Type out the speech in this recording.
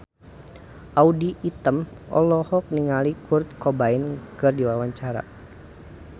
Audy Item olohok ningali Kurt Cobain keur diwawancara